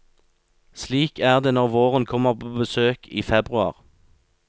Slik er det når våren kommer på besøk i februar.